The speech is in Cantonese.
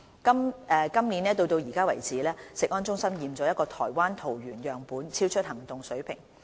今年到現時為止，食安中心檢出一個台灣桃園樣本超出行動水平。